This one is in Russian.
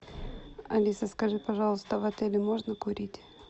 алиса скажи пожалуйста в отеле можно курить